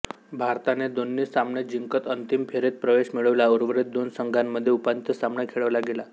भारताने दोन्ही सामने जिंकत अंतिम फेरीत प्रवेश मिळवला उर्वरीत दोन संघांमध्ये उपांत्य सामना खेळवला गेला